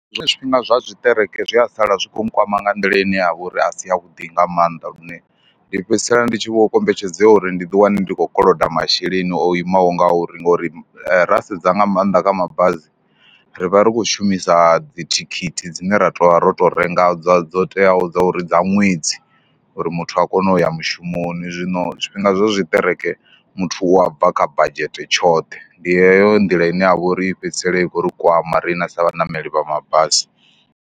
Zwiṅwe zwifhinga zwa tshiṱereke zwi a sala zwi khou mu kwama nga nḓila ine ya vha uri a si yavhuḓi nga maanḓa, lune ndi fhedzisela ndi tshi vho kombetshedzea uri ndi ḓiwane ndi khou koloda masheleni o imaho ngauri ngori ra sedza nga maanḓa kha mabazi ri vha ri khou shumisa dzithikhithi dzine ra tou vha ro tou renga, dza dzo teaho dza uri dza ṅwedzi, uri muthu a kone u ya mushumoni. Zwino zwifhinga zwa zwiṱereke muthu u a bva kha badzhete tshoṱhe, ndi heyo nḓila ine ya vha uri i fhedzisela i khou ri kwama riṋe sa vhaṋameli vha mabasi.